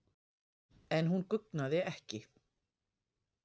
En hún guggnaði ekki.